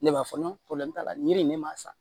Ne b'a fɔ nɔnɔ t'a la yiri ne m'a san